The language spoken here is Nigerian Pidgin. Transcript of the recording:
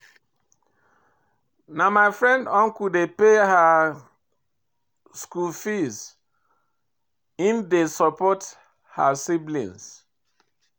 Na my friend uncle dey pay her skool fees, im dey support her siblings.